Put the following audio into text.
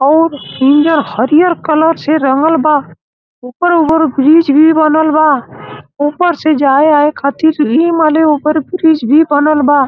और नियर हरियर कलर से रंगल बा| ऊपर-ऊपर ब्रिज भी बनल बा| ऊपर से जाए आए खतिर| एई माने ऊपर ब्रिज भी बनल बा।